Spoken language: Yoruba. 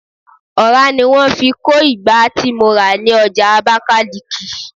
ọra ni wan fi ko ìgbá ti mo ra ni oja abakaliki